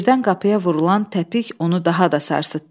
Birdən qapıya vurulan təpik onu daha da sarsıtdı.